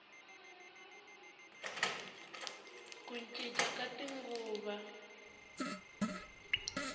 ku cinca ka tinguva